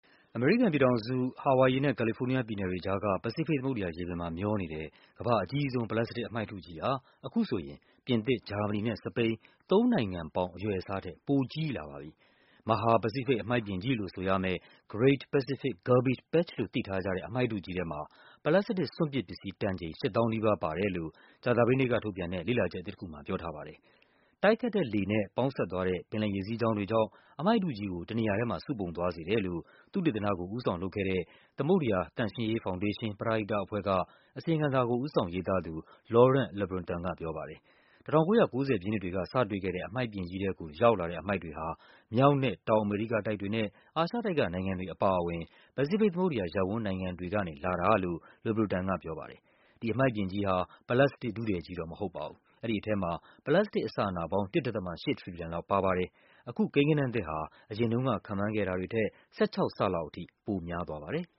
အမေရိကန်ပြည်ထောင်စု၊ ဟာဝိုင်ယီနဲ့ ကာလီဖိုးနီးယားပြည်နယ်တွေကြားက ပစိဖိတ်သမုဒ္ဒရာရေပြင်မှာ မျောနေတဲ့ ကမ္ဘာ့ အကြီးဆုံး ပလတ်စတစ်အမှိုက်ထုကြီးဟာ အခုဆိုရင် ပြင်သစ်၊ ဂျာမနီနဲ့ စပိန် သုံးနိုင်ငံပေါင်း အရွယ်အစားထက် ပိုကြီးလာပါပြီ။ မဟာ ပစိဖိတ် အမှိုက်ပြင်ကြီးလို့ဆိုရမယ့် Great Pacific Garbage Patch လို့ သိထားကြတဲ့ အမှိုက်ထုကြီးထဲမှာ ပလတ်စတစ် စွန့်ပစ်ပစ္စည်း တန်ချိန် ၈၀,၀၀၀ နီးပါးပါတယ်လို့ ကြာသပတေးနေ့ကထုတ်ပြန်တဲ့ လေ့လာချက်အသစ်တခုမှာ ပြောထားပါတယ်။ တိုက်ခတ်တဲ့လေနဲ့ ပေါင်းစပ်သွားတဲ့ ပင်လယ်ရေစီးကြောင်းတွေကြောင့် အမှိုက်ထုကြီးကို တနေရာထဲမှာ စုပုံသွားစေတယ်လို့ သုတေသနကို ဦးဆောင်လုပ်ခဲ့တဲ့ သမုဒ္ဒရာ သန့်ရှင်းရေးဖောင်ဒေးရှင်း ပရဟိတအဖွဲ့က အစီရင်ခံစာကို ဦးဆောင်ရေးသားသူ Laurent Lebreton ကပြောပါတယ်။ ၁၉၉၀ ပြည့်နှစ်တွေက စတွေ့ခဲ့တဲ့ အမှိုက်ပြင်ကြီးထဲကို ရောက်လာတဲ့အမှိုက်တွေဟာ မြောက်နဲ့ တောင်အမေရိကတိုက်တွေနဲ့ အာရှတိုက်ကနိုင်ငံတွေအပါအဝင် ပစိဖိတ်သမုဒ္ဒရာရပ်ဝန်း နိုင်ငံတွေကနေ လာတာလို့ Lebreton ကပြောပါတယ်။ ဒီအမှိုက်ပြင်ကြီးဟာ ပလတ်စတစ် ထုထည်ကြီးတော့မဟုတ်ပါဘူး။ အဲဒီထဲမှာ ပလတ်စတစ်အစအနပေါင်း ၁.၈ ထရီလီယံ လောက်ပါပါတယ်။ အခု ကိန်းဂဏန်းသစ်ဟာ အရင်တုန်းက ခန့်မှန်းခဲ့တာတွေထက် ၁၆ ဆလောက်ထိ ပိုများပါတယ်။